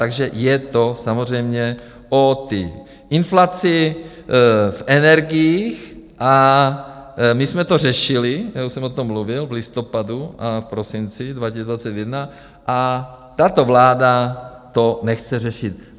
Takže je to samozřejmě o té inflaci v energiích a my jsme to řešili, já už jsem o tom mluvil v listopadu a v prosinci 2021, a tato vláda to nechce řešit.